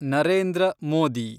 Narendra Modi